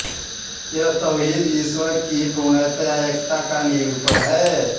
यह तौहीद ईश्वर की पूर्णतया एकता का निरुपण है